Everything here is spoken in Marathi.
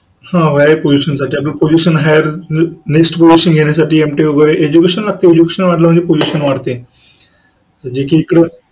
हो higher position साठी आपल्याला position higher हा next position घेण्यासाठी Mtech वैगरे education वाढलं म्हणजे position वाढते.